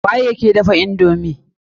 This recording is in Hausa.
Wa yake dafa indomi?